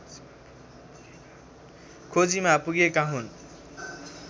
खोजीमा पुगेका हुन्